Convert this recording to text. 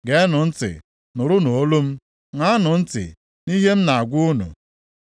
Geenụ ntị, nụrụnụ olu m, ṅaanụ ntị nʼihe m na-agwa unu.